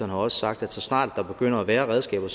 har også sagt at så snart der begynder at være redskaber